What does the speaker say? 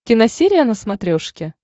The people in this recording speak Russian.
киносерия на смотрешке